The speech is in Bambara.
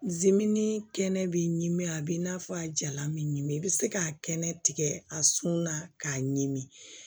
kɛnɛ b'i ɲimi a b'i n'a fɔ a jalan bɛ ɲimin i bɛ se k'a kɛnɛ tigɛ a sɔnna k'a ɲimi